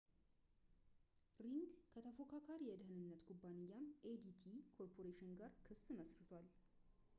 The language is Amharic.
ሪንግ ከተፎካካሪ የደህንነት ኩባንያም adt ኮርፖሬሽን ጋር ክስ መስርቷል